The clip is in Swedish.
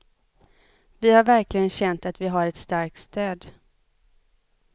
Vi har verkligen känt att vi har ett starkt stöd.